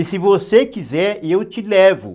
E se você quiser, eu te levo.